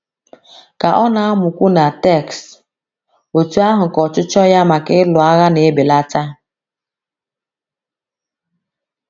Ka ọ na - amụkwu the text, otú ahụ ka ọchịchọ ya maka ịlụ agha na - ebelata.